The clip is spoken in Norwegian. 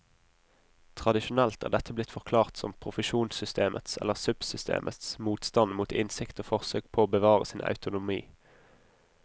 Tradisjonelt er dette blitt forklart som profesjonssystemets eller subsystemets motstand mot innsikt og forsøk på å bevare sin autonomi.